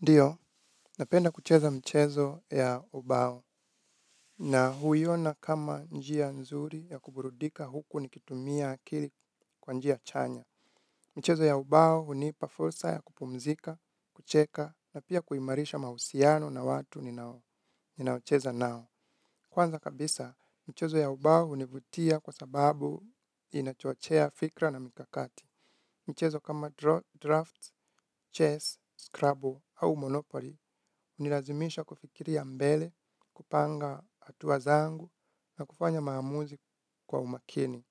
Ndio, napenda kucheza mchezo ya ubao na huiona kama njia nzuri ya kuburudika huku nikitumia akili kwa njia chanya. Michezo ya ubao hunipa fursa ya kupumzika, kucheka na pia kuimarisha mahusiano na watu ninaocheza nao. Kwanza kabisa, michezo ya ubao hunivutia kwa sababu inachochea fikra na mikakati. Michezo kama drafts, chess, scrabble au monopoly, hunilazimisha kufikiria mbele, kupanga hatua zangu na kufanya maamuzi kwa umakini.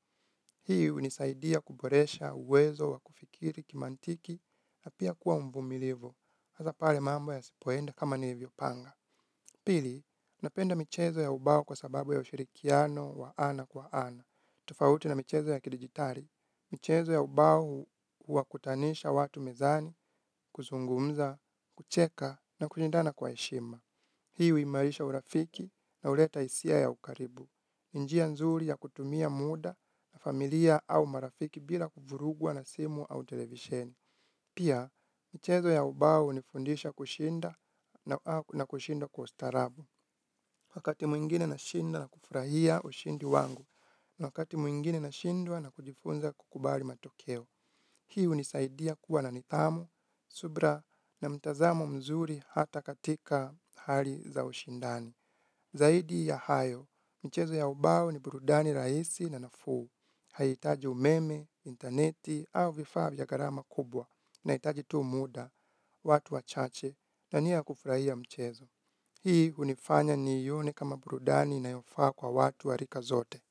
Hii hunisaidia kuboresha uwezo wa kufikiri kimantiki na pia kuwa mvumilivi. Hasa pale mambo yasipoenda kama nilivyopanga. Pili, napenda michezo ya ubao kwa sababu ya ushirikiano wa ana kwa ana. Tofauti na michezo ya kidigitari. Michezo ya ubao huwakutanisha watu mezani, kuzungumza, kucheka na kushindana kwa heshima. Hii huimarisha urafiki na huleta hisia ya ukaribu. Ni njia nzuri ya kutumia muda na familia au marafiki bila kuvurugwa na simu au televisheni. Pia, michezo ya ubao hunifundisha kushinda na kushinda kwa ustarabu. Wakati mwingine nashinda na kufurahia ushindi wangu. Wakati mwingine nashindwa na kujifunza kukubali matokeo. Hii hunisaidia kuwa na nidhamu, subira na mtazamo mzuri hata katika hali za ushindani. Zaidi ya hayo, michezo ya ubao ni burudani rahisi na nafuu, haihitaji umeme, interneti au vifaa vya gharama kubwa, inahitaji tu muda, watu wachache na nia kufurahia mchezo. Hii hunifanya niione kama burudani inayofaa kwa watu wa rika zote.